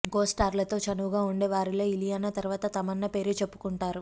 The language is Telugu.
కో స్టార్లతో చనువుగా వుండే వారిలో ఇలియానా తరువాత తమన్నా పేరే చెప్పుకుంటున్నారు